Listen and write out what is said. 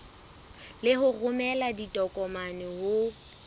le ho romela ditokomane ho